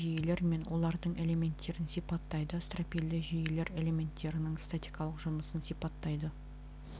стропильді жүйелер мен олардың элементтерін сипаттайды стропильді жүйелер элементтерінің ститикалық жұмысын сипаттайды